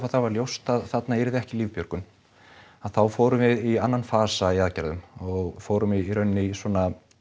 það varð ljóst að þarna yrði ekki lífbjörgun að þá fórum við í annan fasa í aðgerðum og fórum í raun í svona